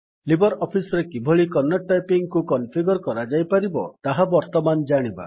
Libre office ରେ କିଭଳି Kannada typing କୁ କନଫିଗର୍ କରାଯାଇପାରିବ ତାହା ବର୍ତ୍ତମାନ ଜାଣିବା